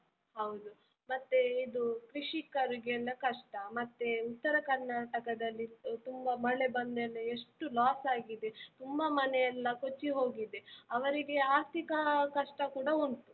ಹೌದು, ಮತ್ತೆ ಇದು ಕೃಷಿಕರಿಗೆಲ್ಲ ಕಷ್ಟ, ಮತ್ತೆ ಉತ್ತರ ಕರ್ನಾಟಕದಲ್ಲಿ ತುಂಬಾ ಮಳೆ ಬಂದ್ಮೇಲೆ ಎಷ್ಟು loss ಆಗಿದೆ ತುಂಬಾ ಮನೆಯೆಲ್ಲ ಕೊಚ್ಚಿ ಹೋಗಿದೆ, ಅವರಿಗೆ ಆರ್ಥಿಕ ಕಷ್ಟಕೂಡ ಉಂಟು.